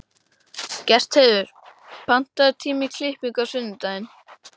Gestheiður, pantaðu tíma í klippingu á sunnudaginn.